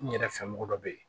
N yɛrɛ fɛ mɔgɔ dɔ be yen